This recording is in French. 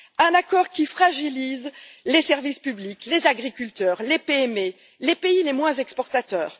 un accord qui fragilise les services publics, les agriculteurs, les PME et les pays les moins exportateurs